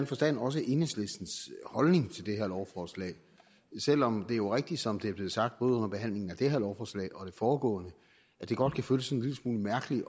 forstand også enhedslistens holdning til det her lovforslag selv om det jo er rigtigt som det er blevet sagt både under behandlingen af det her lovforslag og af det foregående at det godt kan føles sådan en lille smule mærkeligt